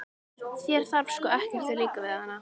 Þér þarf sko ekkert að líka við hana.